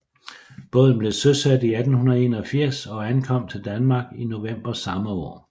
Båden blev søsat i 1881 og ankom til Danmark i november samme år